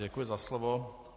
Děkuji za slovo.